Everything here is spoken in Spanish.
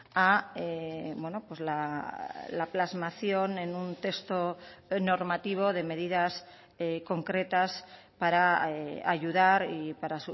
a la plasmación en un texto normativo de medidas concretas para ayudar y para